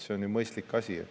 See on ju mõistlik asi.